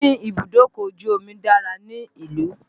Níní ibùdókọ̀ ojù omi dára ní ìlú.